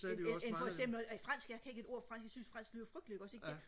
end end end foreksempel fransk jeg kan ikke et ord fransk jeg synes fransk lyder frygteligt ikke også ikke